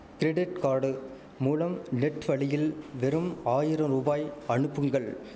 credit card மூலம் net வழியில் வெறும் ஆயிரம் ருபாய் அனுப்புங்கள்